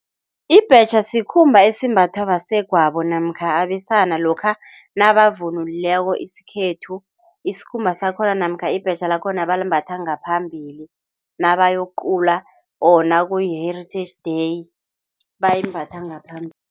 Ibhetjha sikhumba esimbathwa basegwabo namkha abesana, lokha nabavunulileko isikhethu. Isikhumba sakhona namkha ibhetjha lakhona balimbatha ngaphambili nabayokuqula or nakuyi-Heritage Day bayimbatha ngaphambili.